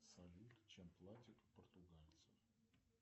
салют чем платят португальцы